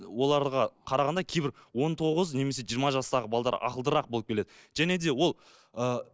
оларға қарағанда кейбір он тоғыз немесе жиырма жастағы ақылдырақ болып келеді және де ол ы